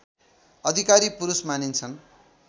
अधिकारी पुरुष मानिन्छन्